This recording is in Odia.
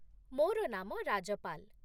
ମୋର ନାମ ରାଜପାଲ।